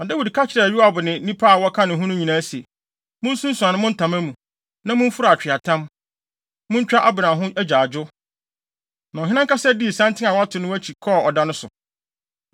Na Dawid ka kyerɛɛ Yoab ne nnipa a wɔka ne ho no nyinaa se, “Munsunsuan mo ntama mu, na mumfura atweaatam. Muntwa Abner ho agyaadwo.” Na ɔhene Dawid ankasa dii santen a wɔato no akyi, kɔɔ ɔda no so.